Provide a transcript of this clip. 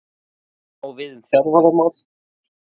Sama á við um þjálfaramál?